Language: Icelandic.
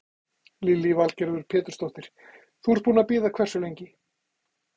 Lillý Valgerður Pétursdóttir: Þú ert búinn að bíða hversu lengi?